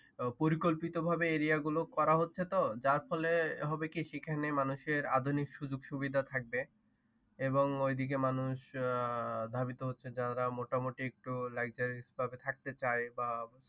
পরিকল্পিতভাবে এরিয়াগুলো করা হচ্ছে তো যার ফলে সেখানন মানুষের আধুনিক সুযোগ সুবিধা থাকবে এবং ওইদিকে মানুষ আহ ধাবিত হচ্ছে যারা মোটামুটি Luxurious ভাবে থাকতে চাই বা